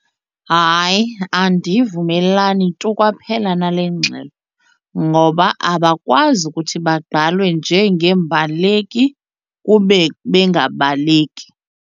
Hayi, andivumelani tu kwaphela nale ngxelo ngoba abakwazi ukuthi bagqalwe njengeembaleki kube bengabaleki.